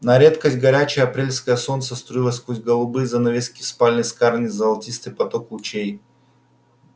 на редкость горячее апрельское солнце струило сквозь голубые занавески в спальне скарлетт золотистый поток лучей